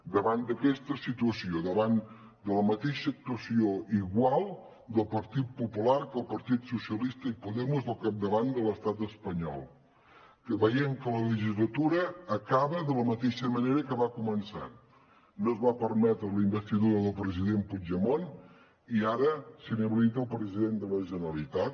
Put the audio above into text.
davant d’aquesta situació davant de la mateixa actuació igual del partit popular que el partit socialista i podemos al capdavant de l’estat espanyol veient que la legislatura acaba de la mateixa manera que va començar no es va permetre la investidura del president puigdemont i ara s’inhabilita el president de la generalitat